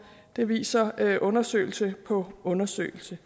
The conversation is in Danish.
det viser undersøgelse på undersøgelse